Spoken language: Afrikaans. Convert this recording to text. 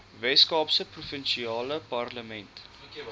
weskaapse provinsiale parlement